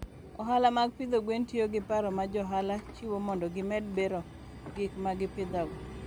Ohala mag pidho gwen tiyo gi paro ma jo ohala chiwo mondo gimed bero gik ma gipidhogo.